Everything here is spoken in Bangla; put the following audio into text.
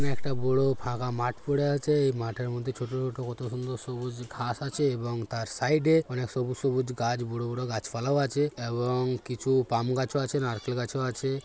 একটা বোড় ফাঁকা মাঠ পড়ে আছে এই মাঠের মধ্যে ছোট ছোট কত সুন্দর সবুজ ঘাস আছে এবং তার সাইডে অনেক সবুজ সবুজ গাছ বড়ো বড়ো গাছপালাও আছে এবং কিছু পাম গাছও আছে নারকেল গাছও আছে।